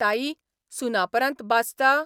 ताई, सुनापरान्त बाचता?